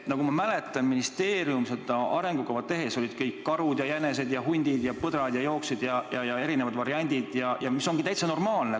Nagu ma mäletan, ministeerium seda arengukava tegi, olid kõik karud ja jänesed ja hundid ja põdrad ja olid erinevad variandid, mis on täitsa normaalne.